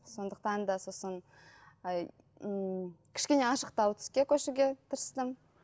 сондықтан да сосын ммм кішкене ашықтау түске көшуге тырыстым